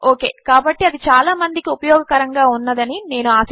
ఒక్ కాబట్టి అది చాలా మందికి ఉపయోగకరముగా ఉన్నది అని నేను ఆశిస్తున్నాను